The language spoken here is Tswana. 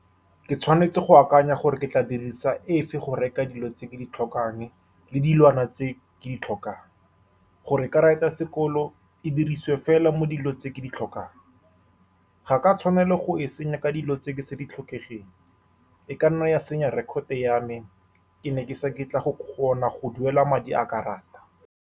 Ke tshwanetse go akanya gore ke tla dirisa efe go reka dilo tse ke di tlhokang, le dilwana tse ke di tlhokang, gore karata ya sekolo e dirisiwe fela mo dilong tse ke di tlhokang. Ga ke a tshwanela go e senya ka dilo tse ke sa di tlhokegeng, e ka nna ya senya record-to ya me, ke ne ke sa ke tla go kgona go duela madi a karata.